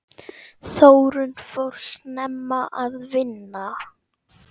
Þórunn fór snemma að vinna.